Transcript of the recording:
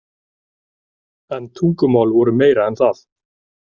En tungumál voru meira en það.